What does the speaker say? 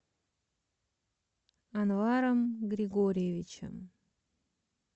анваром григорьевичем